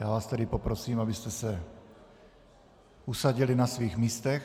Já vás tedy poprosím, abyste se usadili na svých místech.